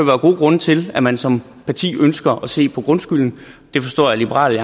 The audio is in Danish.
være gode grunde til at man som parti ønsker at se på grundskylden det forstår jeg at liberal